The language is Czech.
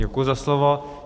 Děkuji za slovo.